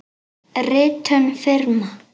Ritun firma.